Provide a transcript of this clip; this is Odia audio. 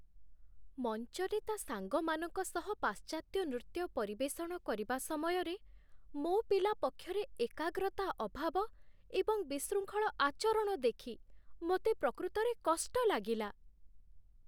ମଞ୍ଚରେ ତା' ସାଙ୍ଗମାନଙ୍କ ସହ ପାଶ୍ଚାତ୍ୟ ନୃତ୍ୟ ପରିବେଷଣ କରିବା ସମୟରେ, ମୋ ପିଲା ପକ୍ଷରେ ଏକାଗ୍ରତା ଅଭାବ ଏବଂ ବିଶୃଙ୍ଖଳ ଆଚରଣ ଦେଖି ମୋତେ ପ୍ରକୃତରେ କଷ୍ଟ ଲାଗିଲା।